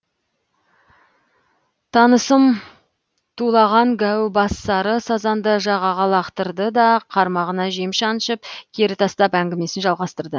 танысым тулаған гәу бас сары сазанды жағаға лақтырды да қармағына жем шаншып кері тастап әңгімесін жалғастырды